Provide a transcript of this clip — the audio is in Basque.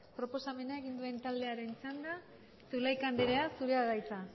proposamen egin duen taldearen txanda zulaika anderea zurea da hitza